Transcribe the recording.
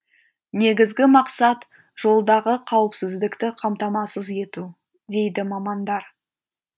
негізгі мақсат жолдағы қауіпсіздікті қамтамасыз ету дейді мамандар